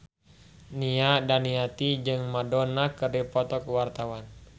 Nia Daniati jeung Madonna keur dipoto ku wartawan